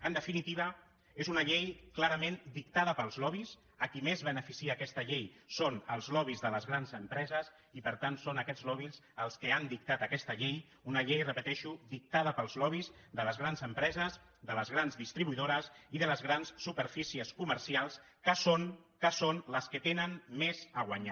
en definitiva és una llei clarament dictada pels lobbys a qui més beneficia aquesta llei és als lobbys de les grans empreses i per tant són aquests lobbys els que han dictat aquesta llei una llei ho repeteixo dictada pels lobbys de les grans empreses de les grans distribuïdores i de les grans superfícies comercials que són que són les que hi tenen més a guanyar